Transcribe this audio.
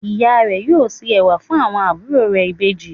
Ìya rẹ̀ yóò se ẹ̀wà fun àwọn àbúrò rẹ̀ Ìbejì